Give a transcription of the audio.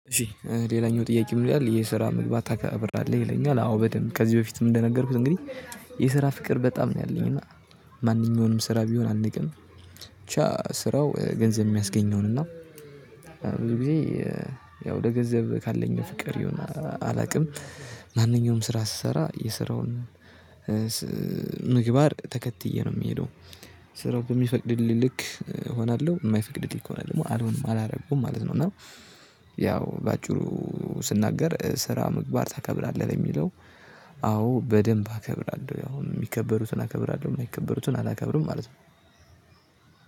እሺ ሌላኛው ጥያቄ ምን ይላል? የስራ መግባት ታከበራለህ ይለኛል አዎ በደንብ ከዚህ በፊትም እንደነገርኩት እንግዲህ የስራ ፍቅር በጣም ነው ያለኝ እና ማንኛውንም ስራ ቢሆን አንቅም። ብቻ ስራው ገንዘብ የሚያስገኘውን ይሁን እና ብዙ ጊዜ ያው ለገንዘብ ካለኝ ፍቅር ይሁን አላውቅም። ማንኛውም ስራ ስሰራ የስራውን ምግባር ተከትዬ ነው የሚሄደው። ስራው በሚፈቅድልኝ ልክ እሆናለሁ የማይፈቅድልኝ ከሆነ ደግሞ አልሆንም አላረጉም ማለት ነው። እና ያው በአጭሩ ስናገር ስራ ምግባር ታከብራለህ ለሚለው? አዎ በደንብ አከብራለሁ ያው የሚከበሩትን አከብራለሁ የማይከበሩትን አላከብርም ማለት ነው።